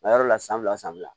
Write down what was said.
A yɔrɔ la san fila san fila